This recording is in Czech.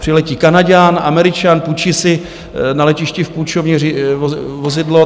Přiletí Kanaďan, Američan, půjčí si na letišti v půjčovně vozidlo.